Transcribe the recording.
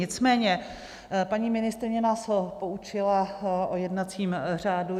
Nicméně paní ministryně nás poučila o jednacím řádu.